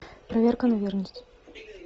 проверка на верность